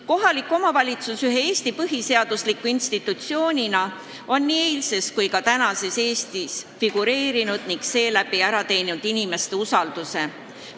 Kohalik omavalitsus on ühe põhiseadusliku institutsioonina figureerinud nii eilses kui ka tänases Eestis ning ära teeninud inimeste usalduse.